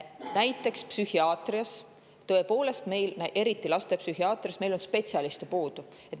Näiteks psühhiaatrias, eriti lastepsühhiaatrias on meil spetsialiste puudu.